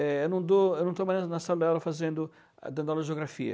É, eu não dou eu não estou mais na sala de aula fazendo, dando aula de geografia.